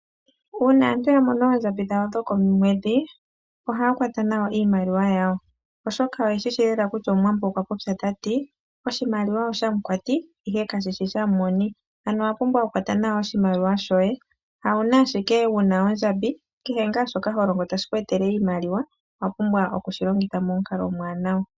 Uuna aantu ya mona oondjambi dhawo dhokomweedhi ohaya kwata nawa iimaliwa yawo, oshoka oye shishi lela kutya omuwambo okwa popya tati:' oshimaliwa oshamukwati ihe kashishi sha m'moni ', ano owa pumbwa oku kwata nawa oshimaliwa shoye, hawuna ashike wuna ondjambi, kehe ngaa shoka ho longo tashi vulu okuku etela oshimaliwa owa pumbwa okushi longitha momukalo omwaanawa.